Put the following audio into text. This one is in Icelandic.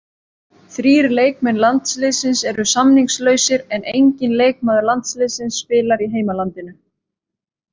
Þrír leikmenn landsliðsins eru samningslausir en enginn leikmaður landsliðsins spilar í heimalandinu.